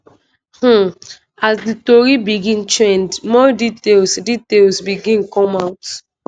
um as di tori begin trend more details details begin come out